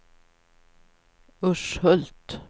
Urshult